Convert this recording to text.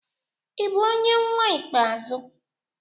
Ị bụ onye nnwa ikpeazụ?